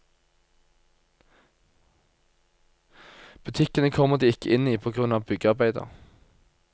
Butikkene kommer de ikke inn i på grunn av byggearbeider.